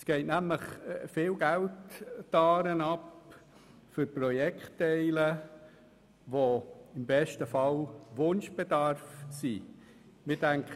Es geht nämlich viel Geld die Aare hinunter für Projektteile, die im besten Fall einem Wunschbedarf entsprechen.